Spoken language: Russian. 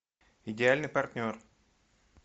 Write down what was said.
идеальный партнер